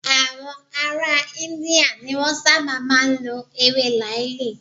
Àwọn ará India ni Wọ́n sábà máa ń lọ ewé làáàlì.